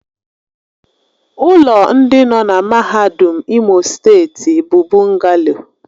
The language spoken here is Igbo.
Ụlọ ndị nọ na mahadum Imo steeti bụ bụngalo